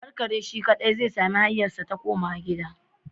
Ka bar kare shi kadai zai sami hanyarsa ta komawa gida